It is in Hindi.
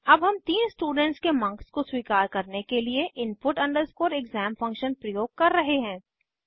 अब हम तीन स्टूडेंट्स के मार्क्स को स्वीकार करने के लिए input exam फंक्शन प्रयोग कर रहे हैं